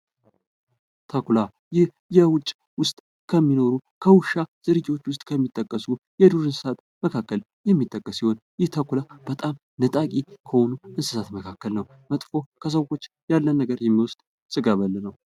ትኩላ ይህ የውጭ ውስጥ ከሚኖሩ ከውሻ ዝርያዎችን ዉስጥ እስከሚጠቀሱ ዱር እንስሳት መካከል የሚጠቀስ ሲሆን ይህ ተኩላ በጣም ነጠቂ ከሆኑ እንስሳት መካከል ነው መጥፎ ከሰዎች ያለን ነገር የሚወስድ ስጋ በል ነው ::